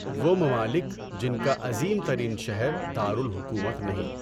وہ ممالک جن کا عظیم ترین شہر دارالحکومت نہیں